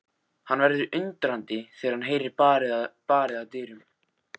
Hann verður undrandi þegar hann heyrir barið að dyrum.